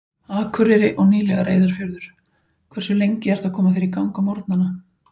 Akureyri og nýlega Reyðarfjörður Hversu lengi ertu að koma þér í gang á morgnanna?